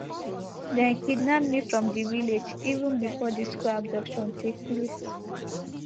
dem kidnap me from di village even before di school abduction take place